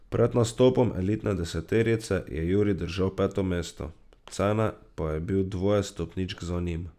Pred nastopom elitne deseterice je Jurij držal peto mesto, Cene pa je bil dvoje stopničk za njim.